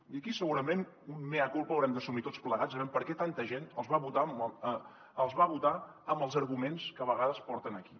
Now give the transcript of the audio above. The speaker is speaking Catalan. i aquí segurament un mea culpa haurem d’assumir tots plegats aviam per què tanta gent els va votar amb els arguments que a vegades porten aquí